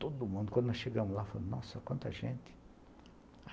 Todo mundo, quando nós chegamos lá, falou, nossa, quanta gente.